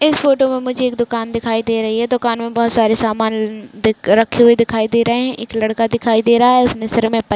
इस फोटो में मुझे एक दूकान दिखाई दे रही है दूकान में बहोत सारे समान रखे हुए दिखाई दे रहे है एक लड़का दिखाई दे रहा है उसने सीर में पन--